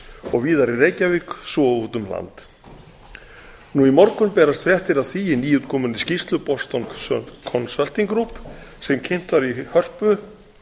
og víðar í reykjavík svo og úti um land nú í morgun berast fréttir af því í nýútkominni skýrslu boston consulting group er kynnt var í hörpu